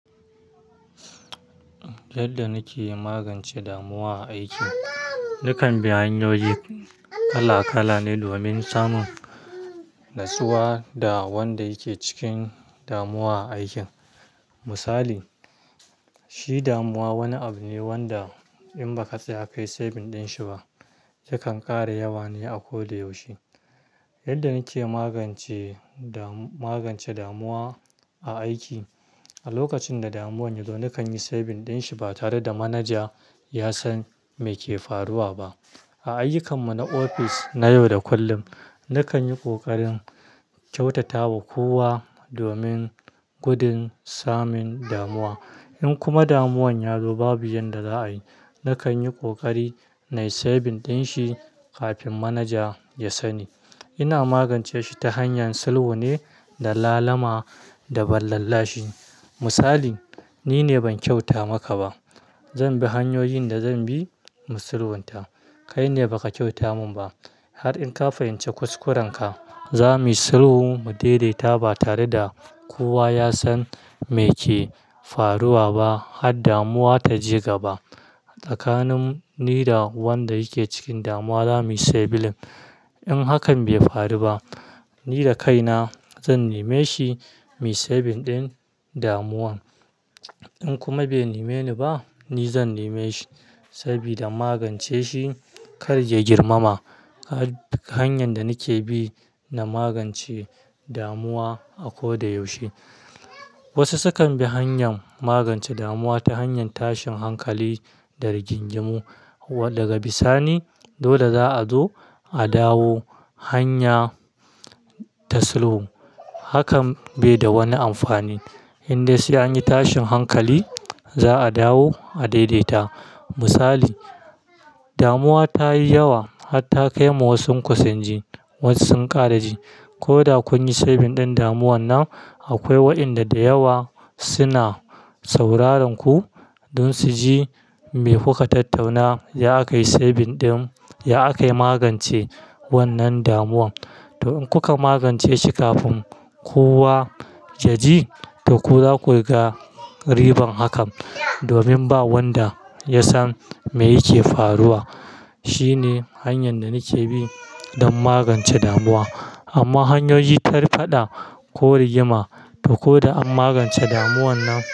Yadda nake magance damuwa aiki, nakan bi hanyoyi kala kala ne domin samun natsuwa da wanda yake cikin damuwa aikin. Misali, shi damuwa wani abu ne wanda in baka tsaya kai saving din shi ba, yakan kara yawa ne a koda yaushe. Yadda nike magance da, magance damuwa a aiki, a lokacin da damuwan yazo nakan yi saving din shi ba tare da manaja ya san me ke faruwa ba. A ayukan mu na ofis, na yau da kullum, nakan yi kokarin kyautata wa kowa domin gudun samun damuwa. In kuma damuwan ya zo babu yanda za'a yi, nakan yi kokari na yi saving din shi kafin manaja ya sani. Ina magance shi ta hanyar sulhu ne da lalama da ban lallashi. Misali, "ni ne ban kyauta maka ba, zan bi hanyoyin da zan bi mu sulhunta, kai ne baka kyauta min ba har in ka fahimci kuskurenka, zamu yi sulhu mu daidaita ba tare da kowa ya san me ke faruwa ba har damuwa ta je gaba." Tsakanin ni da wanda yake cikin damuwa za mu yi sebilin. In hakan bai faru ba, ni da kaina zan neme shi mu yi saving din damuwan. In kuma bai neme ni ba, ni zan neme shi saboda magance shi kar ya girmama. Har duk hanyar da nike bi na magance damuwa a kodayaushe. Wasu sukan bi hanyar magance damuwa ta hanyar tashin hankali da rigingimu daga bisani. Dole za'a zo a dawo hanya ta sulhu, hakan bai da wani amfani. Indai sai an yi tashin hankali, za'a dawo a daidaita. Misali, damuwa ta yi yawa har ta kai ma wasuku sun ji, wasu sun kara ji. Ko da kun yi saving din damuwan nan, akwai waɗanda da yawa suna sauraron ku don su ji me kuka tattauna, ya akai saving din, ya akai magance wannan damuwan. To in kuka magance shi kafin kowa ya ji, to ku za ku riga riban hakan domin ba wanda ya san me yake faruwa. Shi ne hanyar da nike bi don magance damuwa. Amma hanyoyi ta faɗa ko rigima to ko da an magance damuwan nan-